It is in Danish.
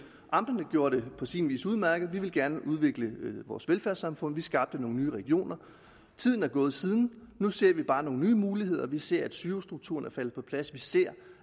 amterne gjorde det på sin vis udmærket vi ville gerne udvikle vores velfærdssamfund vi skabte nogle nye regioner tiden er gået siden og nu ser vi bare nogle nye muligheder vi ser at sygehusstrukturen er faldet på plads vi ser